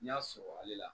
N y'a sɔrɔ ale la